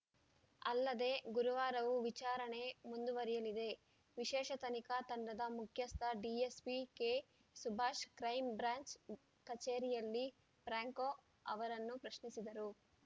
ಅಲ್ಲದೆ ಗುರುವಾರವೂ ವಿಚಾರಣೆ ಮುಂದುವರಿಯಲಿದೆ ವಿಶೇಷ ತನಿಖಾ ತಂಡದ ಮುಖ್ಯಸ್ಥ ಡಿಎಸ್‌ಪಿ ಕೆಸುಭಾಷ್‌ ಕ್ರೈಂ ಬ್ರಾಂಚ್‌ ಕಚೇರಿಯಲ್ಲಿ ಫ್ರಾಂಕೊ ಅವರನ್ನು ಪ್ರಶ್ನಿಸಿದರು